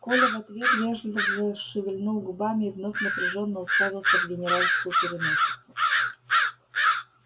коля в ответ вежливо шевельнул губами и вновь напряжённо уставился в генеральскую переносицу